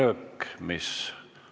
Soovi vabas mikrofonis sõna võtta ei ole.